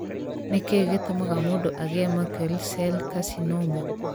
Nĩ kĩĩ gĩtũmaga mũndũ agĩe Merkel cell carcinoma?